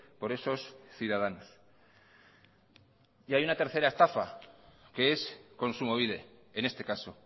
por esos ciudadanos y hay una tercera estafa que es kontsumobide en este caso